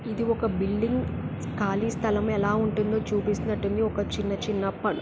ఇది ఒక బిల్డింగ్ కాలి స్థలం ఎలా ఉంటుందో చుపిస్తున్నట్టుంది ఒక చిన్న చిన్న పల్ --